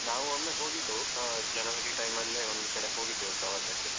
ನಾವ್ ಒಮ್ಮೆ ಹೋಗಿದ್ವು ಆ time ಅಲ್ಲೆ ಒಂದ್ ಕಡೆ ಹೋಗಿದ್ದೆವು ಪ್ರವಾಸಕ್ಕೆ.